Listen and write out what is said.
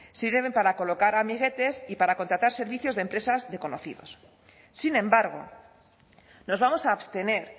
sirven para colocar amiguetes y para contratar servicios de empresas de conocidos sin embargo nos vamos a abstener